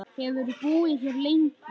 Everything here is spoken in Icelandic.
Hefurðu búið hér lengi?